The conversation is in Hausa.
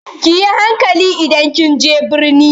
Ki yi hankali idan kin je birni!